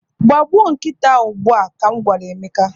Gbagbuo nkịta a ugbu a! ka m gwara Emeka.